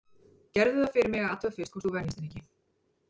Gerðu það fyrir mig að athuga fyrst hvort þú venjist henni ekki.